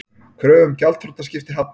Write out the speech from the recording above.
Kröfu um gjaldþrotaskipti hafnað